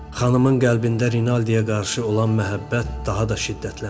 Xanımın qəlbində Rinaldiyə qarşı olan məhəbbət daha da şiddətləndi.